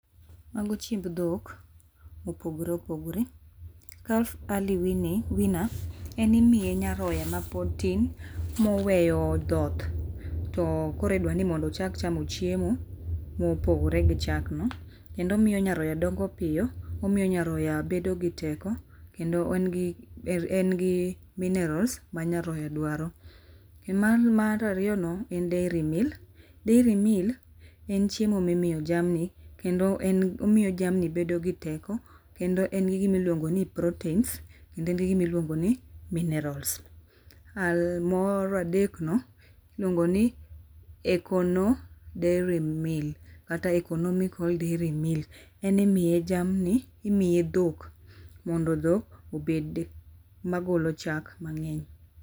Mago chiemb dhok mopogore opogore. Calf early weaning weaner en imiye nyaroya mapod tin moweyo dhoth to koro idwani mondo ochak chamo chiemo mopogore gi chakno. Kendo omiyo nyaroya dongo piyo omiyo nyaroya bedo gi teko kendo engi engi minerals ma nyaroya dwaro. Kendo mar ariyono en dairy meal. Dairy meal en chiemo mi miyo jamni kendo en omiyo jamni bedo gi teko kendo engi gima iluongoni poroteins kendo engi gima iluongoni minerals mar adekno iluongoni econo dairy meal kata economical dairy meal en imiye jamni, imiye dhok mondo dhok obed magolo mang'eny.